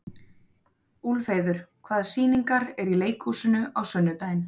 Úlfheiður, hvaða sýningar eru í leikhúsinu á sunnudaginn?